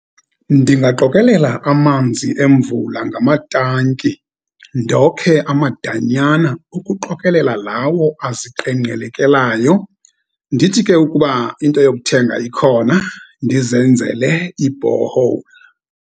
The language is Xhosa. Ndingaqokelela amanzi emvula ngamatanki, ndokhe amadanyana ukuqokelela lawo aziqengqelekelayo. Ndithi ke, ukuba into yokuthenga ikhona, ndizenzele i-borehole.